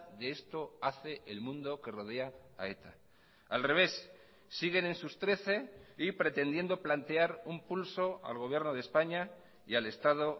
de esto hace el mundo que rodea a eta al revés siguen en sus trece y pretendiendo plantear un pulso al gobierno de españa y al estado